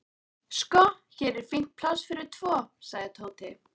Sko, hér er fínt pláss fyrir tvo sagði Tóti.